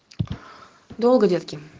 долго детки